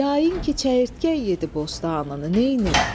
Yayın ki, çəyirtkə yedi bostanını neynim?